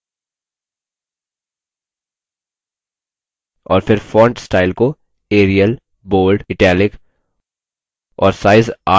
और फिर font style को arial bold italic और size 8में bold